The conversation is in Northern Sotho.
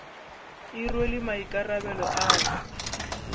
e rwele maikarabelo a go